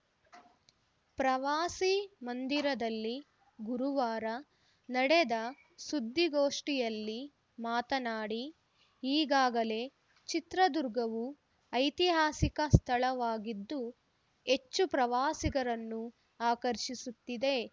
ಪ್ರವಾಸಿ ಮಂದಿರದಲ್ಲಿ ಗುರುವಾರ ನಡೆದ ಸುದ್ದಿಗೋಷ್ಠಿಯಲ್ಲಿ ಮಾತನಾಡಿ ಈಗಾಗಲೇ ಚಿತ್ರದುರ್ಗವು ಐತಿಹಾಸಿಕ ಸ್ಥಳವಾಗಿದ್ದು ಹೆಚ್ಚು ಪ್ರವಾಸಿಗರನ್ನು ಆಕರ್ಷಿಸುತ್ತಿದೆ